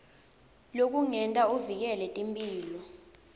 lekungenta uvikele timphilo